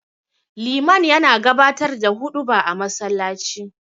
Liman yana gabatar da huɗuba a masallaci.